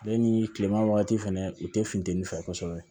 Ale ni kileman wagati fɛnɛ u te funteni fɛ kosɛbɛ